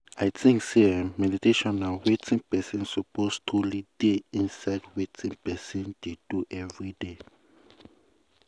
i think say eeh meditation na wetin person suppose truely dey inside wetin person dey do everyday.